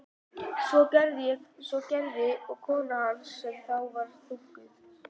Svo gerði og kona hans sem þá var þunguð.